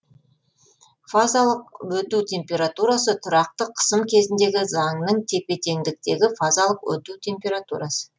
фазалық өту температурасы тұракты қысым кезіндегі заңның тепе теңдіктегі фазалық өту температурасы